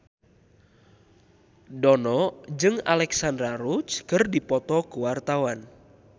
Dono jeung Alexandra Roach keur dipoto ku wartawan